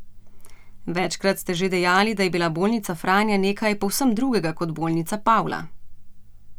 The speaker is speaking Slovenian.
Večkrat ste že dejali, da je bila bolnica Franja nekaj povsem drugega kot bolnica Pavla.